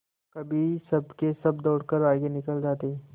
कभी सबके सब दौड़कर आगे निकल जाते